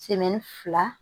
fila